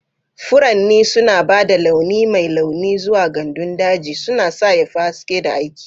Furanni suna ba da launi mai launi zuwa gandun daji, suna sa ya fi haske da aiki.